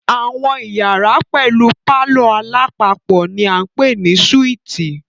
Àwọn iyàrá pẹlú palọ̀ alápapọ̀ ni a ń pè ní súítì.